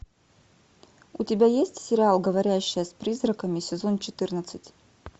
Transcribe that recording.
у тебя есть сериал говорящая с призраками сезон четырнадцать